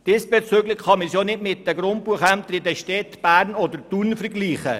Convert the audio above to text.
Diesbezüglich kann man sie auch nicht mit den Grundbuchämtern in den Städten Bern und Thun vergleichen.